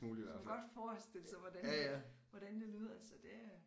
Som godt forestille sig hvordan hvordan det lyder så det er